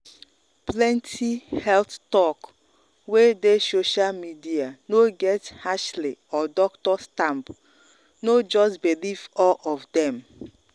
plenty health talk wey dey social media no get ashley or doctor stamp no just believe or of dem.